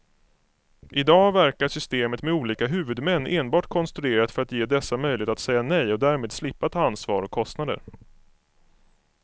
I dag verkar systemet med olika huvudmän enbart konstruerat för att ge dessa möjlighet att säga nej och därmed slippa ta ansvar och kostnader.